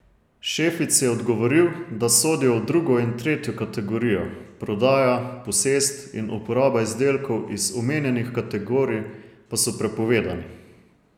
Šefic je odgovoril, da sodijo v drugo in tretjo kategorijo, prodaja, posest in uporaba izdelkov iz omenjenih kategorij pa so prepovedani.